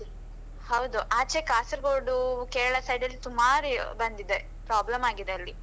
ಹಾ ಹೌದು ಆಚೆ ಕಾಸರಗೋಡು, ಕೇರಳ side ಅಲ್ಲಿ ಸುಮಾರ್ ಬಂದಿದೆ problem ಆಗಿದೆ ಅಲ್ಲಿ.